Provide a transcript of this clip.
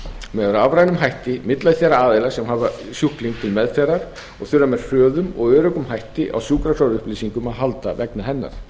með rafrænum hætti milli þeirra aðila sem hafa sjúkling til meðferðar og þurfa með hröðum og öruggum hætti á sjúkraskrárupplýsingum að halda vegna hennar